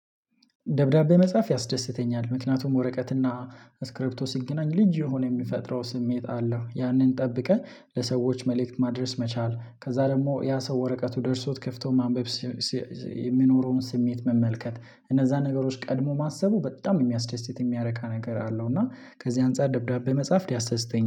ደብዳቤ መጽሐፍ ያስደስተኛል ምክንያቱም ወረቀትና ስክሪፕቶ ሲገናኝ ልጅ የሆነ የሚፈጥረው ስሜት አለው ያንን ጠብቀን ለሰዎች መልእክት ማድረስ መቻል ከዛ ደግሞ ያ ሰው ወረቀቱ ደርሶት ከፍቶ ማንበብ የሚኖረውን ስሜት መመልከት እነዛ ነገሮች ቀድሞ ማሰቡ በጣም የሚያስደስት የሚያረካ ነገር አለው። እና ከዚህ አንፃር ደብዳቤ መጽሐፍ ያስደስተኛል